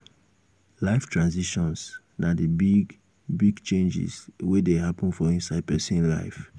life transitions na di big big changes wey dey happen for inside person life